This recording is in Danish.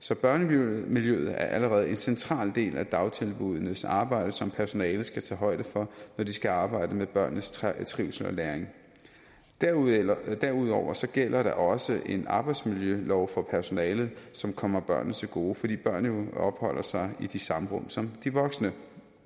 så børnemiljøet er allerede en central del af dagtilbuddenes arbejde som personalet skal tage højde for når de skal arbejde med børnenes trivsel og læring derudover gælder derudover gælder der også en arbejdsmiljølov for personalet som kommer børnene til gode fordi børnene jo opholder sig i de samme rum som de voksne